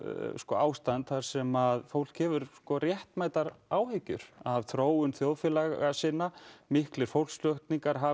ástand þar sem fólk hefur réttmætar áhyggjur af þróun þjóðfélaga sinna miklir fólksflutningar hafa